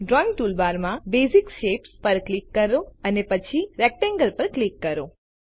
drawing toolbar માં basic shapes પર click કરો અને પછી રેક્ટેંગલ પર ક્લિક કરો